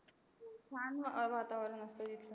छान अं वातावरण असते तिथला.